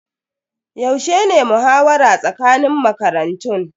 Yaushe ne muhawara tsakanin makarantun?